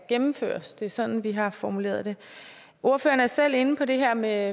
gennemføres det er sådan vi har formuleret det ordføreren er selv inde på det her med